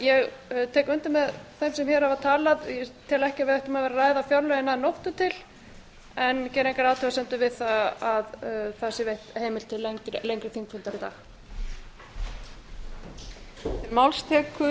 ég tek undir með þeim sem hér hafa talað ég tel ekki að við ættum að ræða fjárlögin að nóttu til en geri engar athugasemdir við að það sé veitt heimild til lengri þingfundar í dag